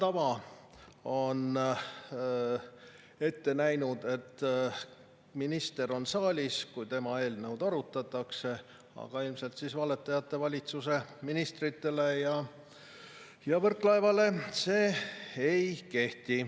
Hea tava on ette näinud, et minister on saalis, kui tema eelnõu arutatakse, aga ilmselt valetajate valitsuse ministritele ja Võrklaevale see ei kehti.